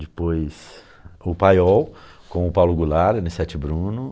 Depois o Paiol com o Paulo Goulart, ene sete Bruno.